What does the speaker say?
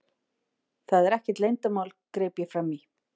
Það er ekkert leyndarmál, greip ég fram í.